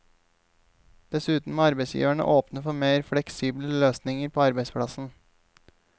Dessuten må arbeidsgiverne åpne for mer fleksible løsninger på arbeidsplassen.